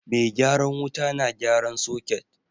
Mai gyaran wuta na gyaran soket